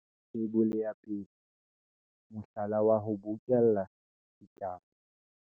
Theibole ya 1. Mohlala wa ho bokella ditaba.